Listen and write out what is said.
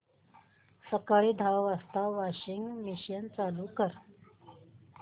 सकाळी दहा वाजता वॉशिंग मशीन चालू कर